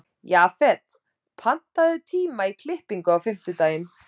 Jafet, pantaðu tíma í klippingu á fimmtudaginn.